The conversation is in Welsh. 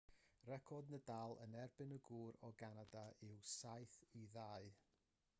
record nadal yn erbyn y gŵr o ganada yw 7-2